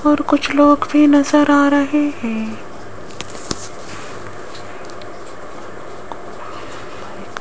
और कुछ लोग भी नजर आ रहे हैं।